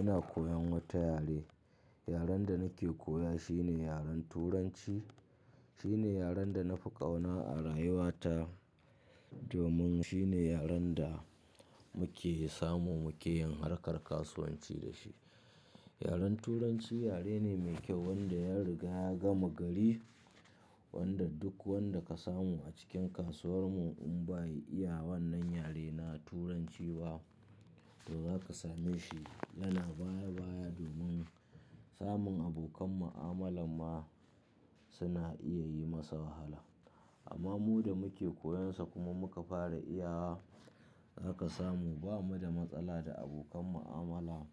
Ina koyan wata yare. Yaren da nake koya shine yaren Turanci. Shine yaren da na fi ƙauna a rayuwa ta. Domin shine yaren da muke samu, muke yin harkar kasuwanci da shi. Yaren Turanci yare ne mai kyau wanda ya riga ya gama gari. Wanda duk wanda ka samu a cikin kasuwar mu in bai iya wannan yare na Turanci ba, to za ka same shi yana baya baya. Domin samun abokan mu'amalar ma suna iya yi masa wahala. Amma mu da muke koyan sa kuma muka fara iya wa, za ka samu ba mu da matsala da abokan mu'amala.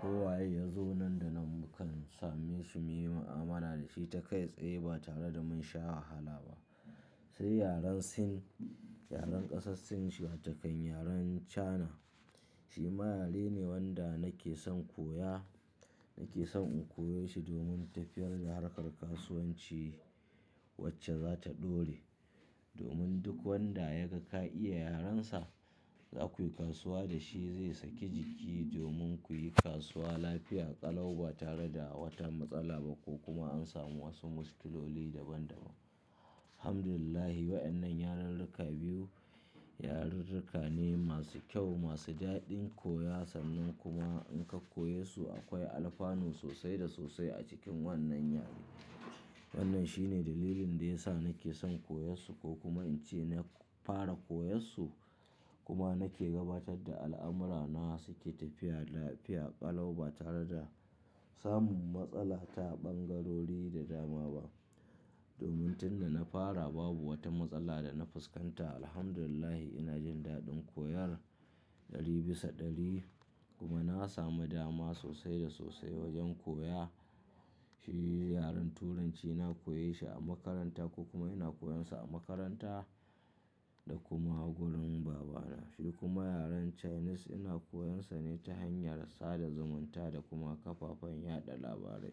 Ko waye ya zo nan da nan, mu kan same shi muyi mu'amala da shi ta kai tsaye ba tare da mun sha wahala ba. Sai yaren Sin, yaren ƙasar Sin watokan yaren China. Shi ma yare ne wanda nake son koya. Nake son in koye shi domin tafiyar da harkar kasuwanci wacce za ta ɗore. Domin duk wanda ya ga ka iya yaren sa, za ku yi kasuwanci da shi zai saki jiki. Domin ku yi kasuwanci lafiya ƙalau ba tare da wata matsala ba ko kuma an sami wasu mushkiloli daban daban. Alhamdulillah, waɗannan yarirrika biyu, yarirrika ne masu kyau, masu daɗin koya, sannan kuma in ka koyesu akwai alfanu sosai da sosai a cikin wannan yare. Wannan shine dalilin da ya sa nake son koyarsu ko kuma in ce na fara koyarsu. Kuma nake gabatar da al'amura na suke tafiya lafiya ƙalau ba tare da samun matsala ta ɓangarori da dama ba. Domin tun da na fara babu wata matsala da na fuskanta. Alhamdulillah, ina jin daɗin koyan ɗari bisa ɗari. Kuma na sami dama sosai da sosai wajen koya. Shi yaren Turanci na koyeshi a makaranta ko kuma ina koyansa a makaranta da kuma gurin babana. Shi kuma yaren Chinese ina koyansa ne ta hanyar sada zumunta da kuma kafafen yaɗa labarai.